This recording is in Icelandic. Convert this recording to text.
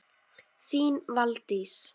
Þín Valdís.